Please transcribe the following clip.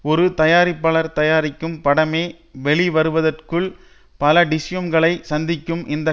ஒரு தயாரிப்பாளர் தயாரிக்கும் படமெ வெளிவருவதற்குள் பல டிஷ்யூம்களை சந்திக்கும் இந்த